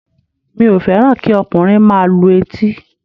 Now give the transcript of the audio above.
Mi ò fẹ́ràn kí ọkùnrin máa lu etí